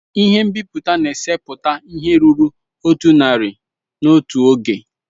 Ihe nbiputa na-eseputa ihe ruru otu narị n'otu oge.